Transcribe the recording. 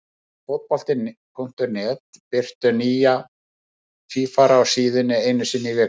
Við á Fótbolti.net birtum nýja tvífara á síðunni einu sinni í viku.